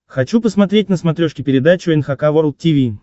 хочу посмотреть на смотрешке передачу эн эйч кей волд ти ви